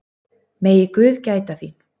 Megi guð gæta þín.